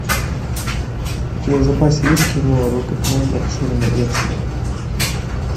у тебя в запасе есть кино рокетмен расширенная версия